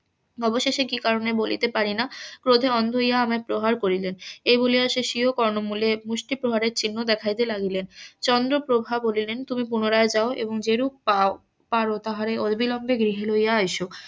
অবশেষে কি কারণে বলিতে পারি না প্রজা অন্ধ হইয়া আমায় প্রহার করিলেন এই বলিয়া সে সিরো কর্ণমুলে মুষ্টি প্রহারের চিহ্ন দেখাইতে লাগিলেন চন্দ্রপ্রভা বলিলেন তুমি পুনরায় যাও এবং যেরূপ পারো তাহারে অবিলম্বে গৃহে লইয়া আইস